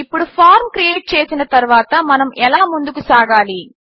ఇప్పుడు form create చేసిన తరువాత మనము ఎలా ముందుకు సాగాలి